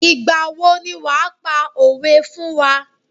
Ìgbà wo ni wàá pa òwé fún wá.